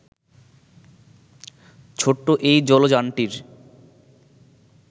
ছোট্ট এই জলযানটির